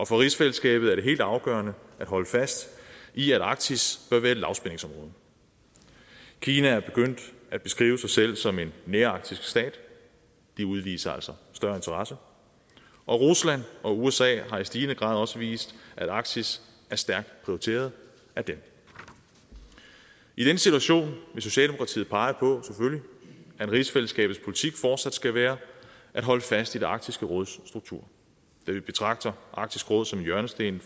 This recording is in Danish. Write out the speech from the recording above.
for rigsfællesskabet er det helt afgørende at holde fast i at arktis bør være et lavspændingsområde kina er begyndt at beskrive sig selv som en nærarktisk stat de udviser altså større interesse og rusland og usa har i stigende grad også vist at arktis er stærkt prioriteret af dem i den situation vil socialdemokratiet selvfølgelig pege på at rigsfællesskabets politik fortsat skal være at holde fast i arktisk råds struktur da vi betragter arktisk råd som hjørnestenen